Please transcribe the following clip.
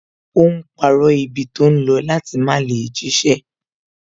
Ó ń parọ́ ibi tó ń lọ láti má lè jíṣẹ́